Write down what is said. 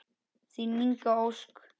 Þín Inga Ósk.